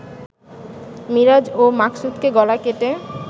মিরাজ ও মাকসুদকে গলা কেটে